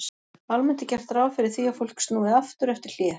Almennt er gert ráð fyrir því að fólk snúi aftur eftir hlé.